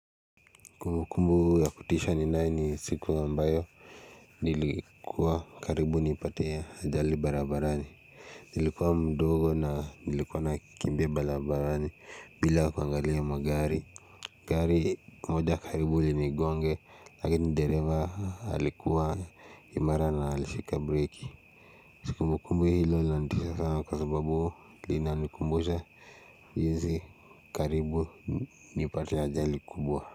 Kumbukumbu ya kutisha ninae ni siku ambayo nilikuwa karibu nipate ajali barabarani Nilikuwa mdogo na nilikuwa nakimbia barabarani bila kuangalia magari Gari moja karibu linigonge lakini dereva alikuwa imara na alishika breki kumbukumbu hilo linanitisha sana kwa sababu linanikumbusha jinsi karibu nipate ajali kubwa.